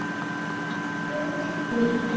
Þjóðin mín.